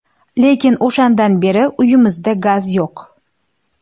Lekin o‘shandan beri uyimizda gaz yo‘q.